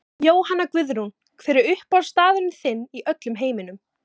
Jóhanna Guðrún Hver er uppáhaldsstaðurinn þinn í öllum heiminum?